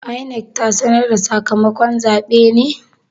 INEC ta sanar da sakamakon zabe ne?